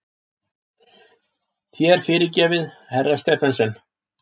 Þér fyrirgefið, herra Stephensen!